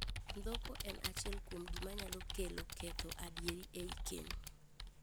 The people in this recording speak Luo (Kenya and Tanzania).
Ndhoko en achiel kuom gima nyalo ketho adieri ei keny.